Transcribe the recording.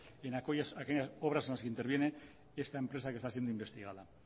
en aquellas obras en las que interviene esta empresa que está siendo investigada